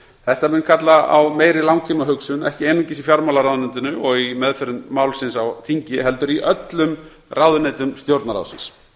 þetta mun kalla á meiri langtímahugsun ekki einungis í fjármálaráðuneytinu og í meðförum málsins á þingi heldur í öllum ráðuneytum stjórnarráðsins